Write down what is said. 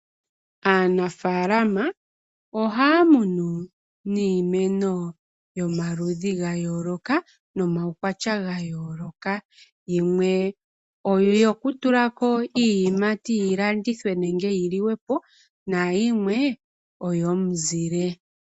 Aanafaalama ohaya kunu iimeno yomaludhi ga yooloka nomawukwatya ga yooloka. Yimwe oyo ku tulako iiyimati yi landithwe nenge yi liwepo. Na yimwe oyomuzile.